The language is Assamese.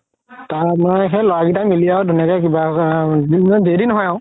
সেই ল'ৰা কেইটাই মিলি আৰু ধুনীয়াকে নহয় আৰু